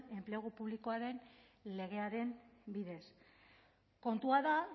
enplegu publikoaren legearen bidez kontua da